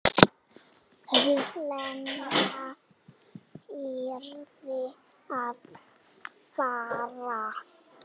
Lena yrði að fara.